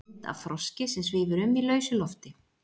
mynd af froski sem svífur um í lausu lofti